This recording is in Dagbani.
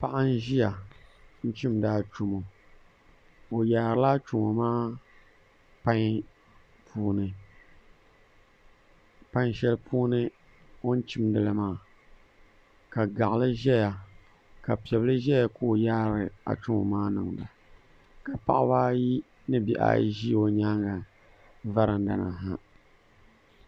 Paỿa n-ziya n-chimda achomo oyaarila achomo maa pan puuni, pan cheli puuni on chimdili maa ka gaỿli zeya ka pebil zeya kooi yaari achomo maa ninda ka baỿba ayi ni bihaa yi zi nyaanga varandani ha.